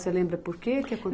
Você lembra porquê?